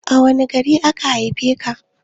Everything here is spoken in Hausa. A wani gari aka haife ka?